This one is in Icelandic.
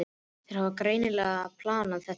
Þeir hafa greini lega planað þetta vel.